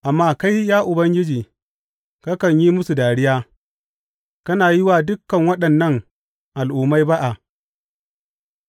Amma kai, ya Ubangiji, kakan yi musu dariya; kana yi wa dukan waɗannan al’ummai ba’a.